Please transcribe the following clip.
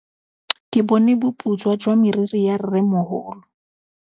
Ke bone boputswa jwa meriri ya rrêmogolo.